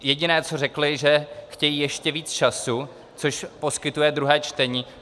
Jediné, co řekli, že chtějí ještě více času, což poskytuje druhé čtení.